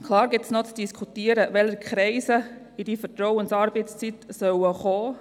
Natürlich muss man noch diskutieren, welche Kreise in die Vertrauensarbeitszeit eingeschlossen werden sollen.